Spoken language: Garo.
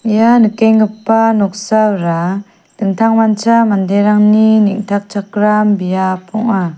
ia nikenggipa noksara dingtang mancha manderangni neng·takchakram biap ong·a.